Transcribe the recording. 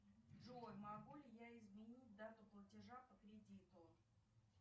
джой могу ли я изменить дату платежа по кредиту